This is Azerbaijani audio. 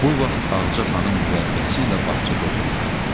Bu vaxt Ağca xanım mürəbbiyəsi ilə bağçada oturmuşdu.